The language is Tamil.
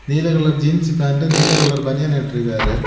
நீல கலர் ஜீன்ஸ் பேண்டு நீல கலர் பனியன் இட்டுருக்காரு.